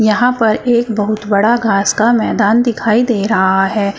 यहां पर एक बहुत बड़ा घास का मैदान दिखाई दे रहा है।